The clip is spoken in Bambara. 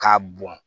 K'a bɔn